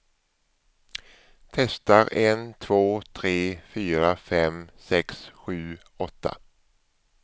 Testar en två tre fyra fem sex sju åtta.